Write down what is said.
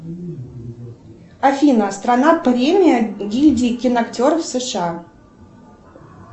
афина страна премия гильдии киноактеров сша